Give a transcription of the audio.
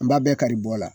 An b'a bɛɛ kari bɔ la